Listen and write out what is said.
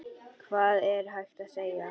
Hvað er hægt að segja?